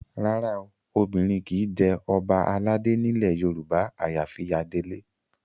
Rárá o, obìnrin kì í jẹ ọba aládé nílẹ̀ Yorùbá àyàfi adelé